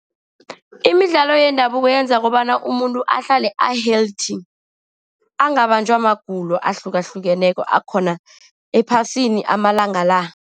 Imidlalo yendabuko yenza kobana umuntu ahlale a-healthy, angabanjwa magulo ahlukahlukeneko akhona ephasini amalanga la.